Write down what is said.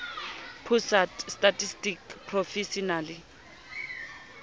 pusat statistik provisionally